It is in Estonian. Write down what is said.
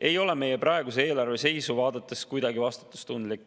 ei ole meie praeguse eelarve seisu vaadates kuidagi vastutustundlik.